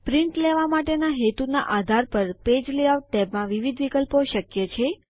print લેવા માટેના હેતુના આધાર ઉપર પેજ લેઆઉટ ટૅબમાં વિવિધ વિકલ્પો શક્ય છે